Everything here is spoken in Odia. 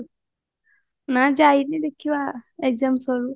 ନାଁ ଯାଇନି ଦେଖିବା exam ସରୁ